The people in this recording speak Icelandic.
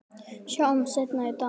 Sjáumst seinna í dag